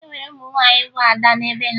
E nwere ụmụ nwaanyị bụ ada na be ha